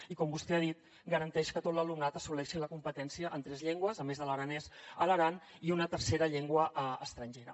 i com vostè ha dit garanteix que tot l’alumnat assoleixi la competència en tres llengües a més de l’aranès a l’aran i una tercera llengua estrangera